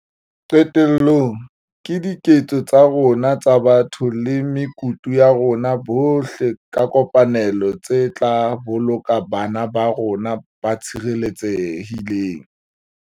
Qetellong, ke diketso tsa rona tsa botho le mekutu ya rona bohle ka kopanelo tse tla boloka bana ba rona ba tshireletsehile.